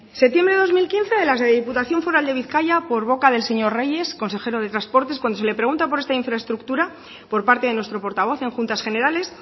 septiembre de dos mil quince desde la diputación foral de bizkaia por boca del señor reyes consejero de transportes cuando se le pregunta por esta infraestructura por parte de nuestro portavoz en juntas generales